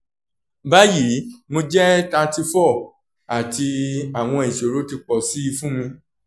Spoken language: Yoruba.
bayi mo jẹ thirty four ati awọn isoro ti pọ si fun mi